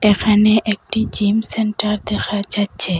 এখানে একটি gym centre দেখা যাচ্ছে।